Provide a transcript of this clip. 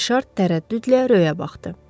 Rişar tərəddüdlə Rövə baxdı.